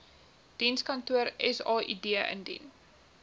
dienskantoor said indien